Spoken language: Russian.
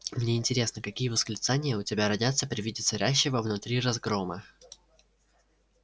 мне интересно какие восклицания у тебя родятся при виде царящего внутри разгрома